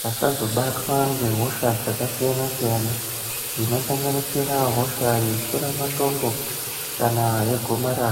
vasazobatwa ngehosha dzaksiyanasiyana dzinosanganisira hosha dzemashura matongo kana yegomarara.